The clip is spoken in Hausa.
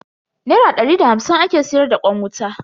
Nera dari da hamsin ake siyar da kwan wuta.